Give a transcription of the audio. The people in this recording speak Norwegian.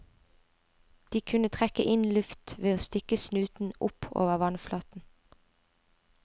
De kunne trekke inn luft ved å stikke snuten opp over vannflaten.